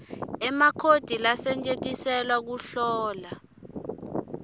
emakhodi lasetjentiselwa kuhlola